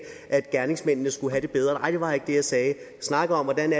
at gerningsmændene skulle have det bedre nej det var ikke det jeg sagde jeg snakkede om hvordan